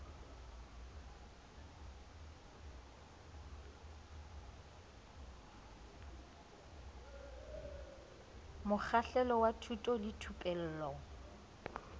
mokgahlelo wa thuto le thupello